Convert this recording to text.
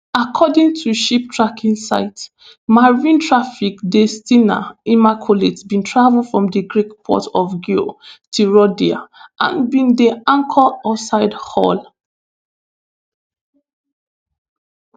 according to ship tracking site marinetraffic di s ten a immaculate bin travel from di greek port of agioi theodoroi and bin dey anchored outside hull